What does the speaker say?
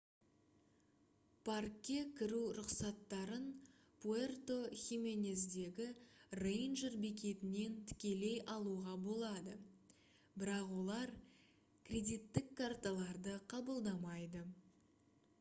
паркке кіру рұқсаттарын пуэрто хименездегі рейнджер бекетінен тікелей алуға болады бірақ олар кредиттік карталарды қабылдамайды